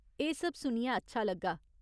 एह् सब सुनियै अच्छा लग्गा।